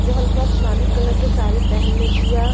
जो हल्का आसमानी कलर के साड़ी पहनले बिया।